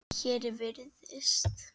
Hér virðist